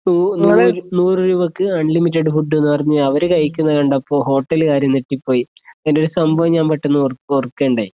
നൂറുരൂപയ്ക്ക് unlimited food എന്ന് പറഞ്ഞു അവരു കഴിക്കണകണ്ടപ്പോൾ ഹോട്ടലുകാര് നെട്ടിപ്പോയി പിന്നേ ഒരു സംഭവം ഞാൻ പെട്ടെന്നു ഓർക്കയുണ്ടായി